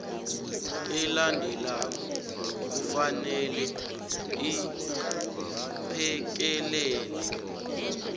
elandelako kufanele iphekelele